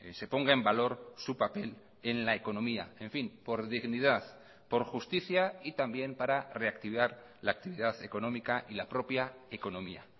se ponga en valor su papel en la economía en fin por dignidad por justicia y también para reactivar la actividad económica y la propia economía